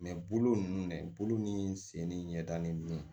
bolo ninnu de bolo ni sen ni ɲɛdalen don